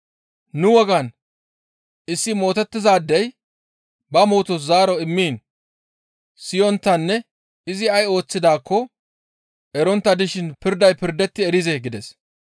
«Nu wogan issi mootettizaadey ba mootos zaaro immiin siyonttanne izi ay ooththidaakko erettontta dishin pirday pirdetti erizee?» gides.